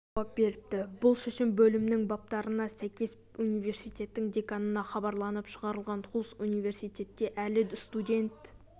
деп жауап беріпті бұл шешім бөлімнің баптарына сәйкес университеттің деканына хабарланып шығарылған хулс университетте әлі студент